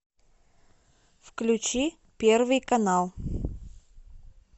включи первый канал